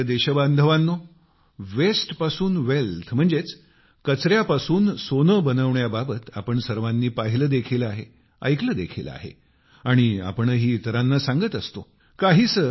माझ्या प्रिय देशबांधवांनो वास्ते पासून वेल्थ म्हणजेच कचऱ्यापासून सोने बनवण्याबाबत आपण सर्वानी पाहिले देखील आहे ऐकले देखील आहे आणि आपणही इतरांना सांगत असतो